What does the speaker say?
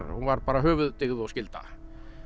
hún var bara höfuðdyggð og skylda